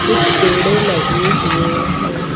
कुछ पेड़े लगे हुए हैं।